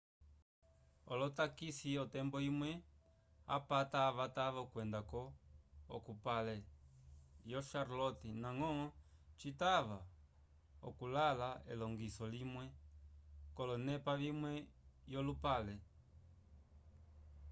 olotakisi otembo imwe apata avatava okwenda-ko k'oupale yo charlotte ndañgo citava okukala l'elongiso limwe k'olonepa vimwe yolupale